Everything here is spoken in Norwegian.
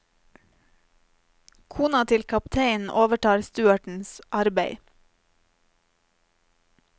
Kona til kapteinen overtar stuertens arbeid.